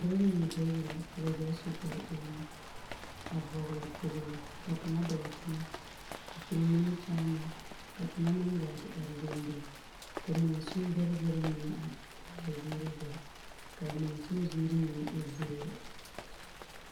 Dͻbͻ mine bayi la ka ba zaa su kpare ulimo a vͻgeli kpooli. Ka kaŋa dͻͻ teŋԑ a piri nimikyaanaa ka kaŋa meŋ gaa te are dendeŋ ka mansin bԑrԑ bԑrԑ mine a ba ba a ziiri zaa. Ka a mansime ziiri mine e zeere.